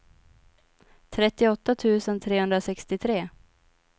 trettioåtta tusen trehundrasextiotre